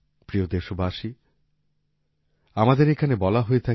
প্রিয় দেশবাসী আমাদের এখানে বলা হয়ে থাকে